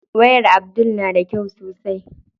Wayar Abdul na da kyau sosai.